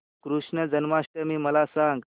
कृष्ण जन्माष्टमी मला सांग